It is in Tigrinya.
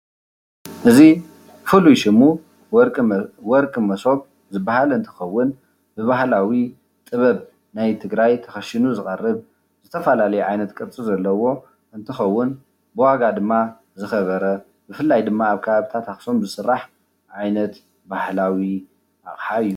እዚ ፍሉይ ሽሙ ወርቂ መ ወርቂ መሶም ዝባሃል እንትኸውን ብባህላዊ ጥበብ ናይ ትግራይ ተከሺኑ ዝቀርብ ዝተፈላለዩ ዓይነት ቅርፂ ዘለዎ እንትኸውን ብዋጋ ድማ ዝኸበረ ብፍላይ ድማ ኣብ ከባቢታት ኣክሱም ዝስራሕ ዓይነት ባህላዊ ኣቕሓ እዩ።